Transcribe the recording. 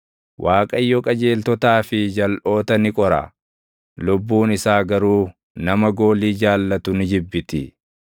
Waaqayyo qajeeltotaa fi jalʼoota ni qora; lubbuun isaa garuu nama goolii jaallatu ni jibbiti.